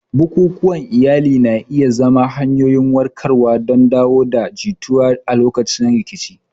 Bukukuwan iyali na iya zama hanyoyin warkarwa don dawo da jituwa a lokacin rikici.